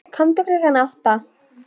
Komdu klukkan átta.